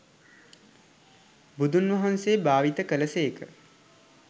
බුදුන්වහන්සේ භාවිත කළ සේක.